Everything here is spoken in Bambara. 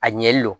A ɲɛli do